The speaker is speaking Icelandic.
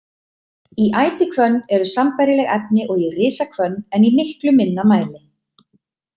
Í ætihvönn eru sambærileg efni og í risahvönn en í miklu minna mæli.